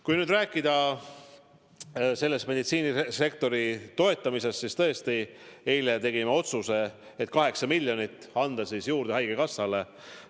Kui nüüd rääkida meditsiinisektori toetamisest, siis tõesti, eile tegime otsuse anda haigekassale juurde 8 miljonit.